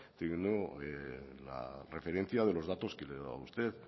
teniendo la referencia de los datos que le he dado a usted